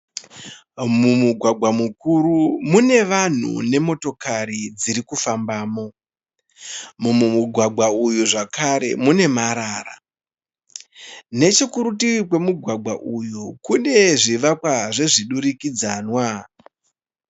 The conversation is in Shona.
Mumugwagwa mukuru mune vanhu nemotokari dziri kufambamo. Mumugwagwa uyu zvakare mune marara. Nechekurutivi kwemugwagwa uyu kune zvivakwa zvemudurikidzamwa.